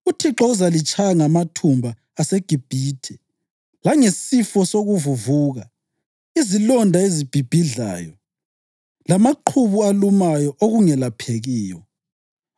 UThixo uzalitshaya ngamathumba aseGibhithe langesifo sokuvuvuka, izilonda ezibhibhidlayo lamaqhubu alumayo, okungelaphekiyo.